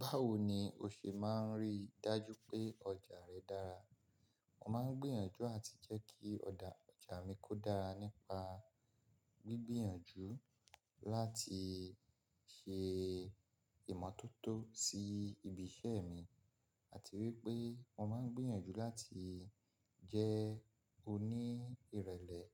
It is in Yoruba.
Báwo ni o ṣe máa rí i dájú pé ọjà rẹ dára? Mo máa ń gbìyànjú àti jẹ́ kí ọjà mi kó dára nípa gbígbìyànjú láti ṣe ìmọ́tótó sí ibi iṣẹ́ mi àti wípé mo máa ń gbìyànjú láti jẹ́ oní irẹ̀lẹ̀